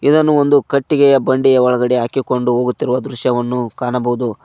ಇದನ್ನು ಒಂದು ಕಟ್ಟಿಗೆಯ ಬಂಡಿಯ ಒಳಗಡೆ ಹಾಕಿಕೊಂಡು ಹೋಗುತ್ತಿರುವ ದೃಶ್ಯವನ್ನು ಕಾಣಬಹುದು.